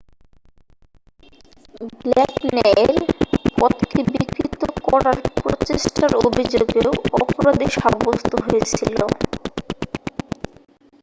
black ন্যায়ের পথকে বিকৃত করার প্রচেষ্ঠার অভিযোগেও অপরাধী সাব্যস্থ হয়েছিল